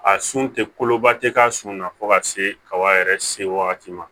A sun tɛ koloba tɛ k'a sun na fo ka se kaba yɛrɛ se wagati ma